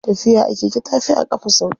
Tafiya a keke tafi a ƙafa sauƙi.